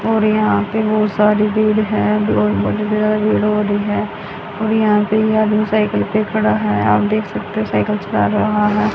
और यहां पे बहोत सारी भीड़ है और यहां ये आदमी साइकल पे खड़ा है आप देख सकते हो साइकल चला रहा है।